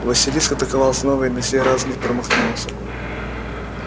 василиск атаковал снова и на сей раз не промахнулся